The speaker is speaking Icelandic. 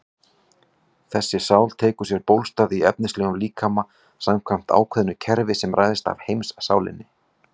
Jón sagðist vona að honum tækist að tala bölmóð úr fólki.